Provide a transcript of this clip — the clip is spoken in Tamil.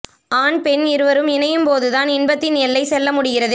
ஆண் பெண் இருவரும் இணையும் போது தான் இன்பத்தின் எல்லை செல்ல முடிகிறது